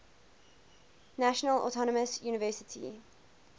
national autonomous university